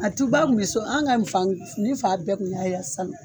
A tuba kun be so, an' ŋa ni fang ne fa bɛɛ tun y'a ya salo.